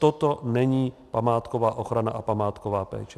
Toto není památková ochrana a památková péče.